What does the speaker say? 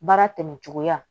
Baara tɛmɛ cogoya